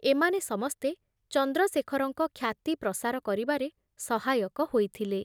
ଏମାନେ ସମସ୍ତେ ଚନ୍ଦ୍ରଶେଖରଙ୍କ ଖ୍ୟାତି ପ୍ରସାର କରିବାରେ ସହାୟକ ହୋଇଥିଲେ ।